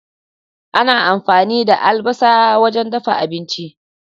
Ana amfani da albasa wajen dafa abinci.